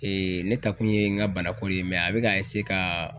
ne ta kun ye n ka banako de ye a bɛ ka ka